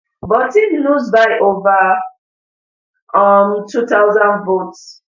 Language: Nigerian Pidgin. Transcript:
but im lose by over um two thousand votes